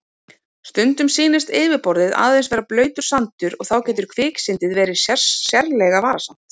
Stundum sýnist yfirborðið aðeins vera blautur sandur og þá getur kviksyndið verið sérlega varasamt.